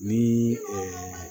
Ni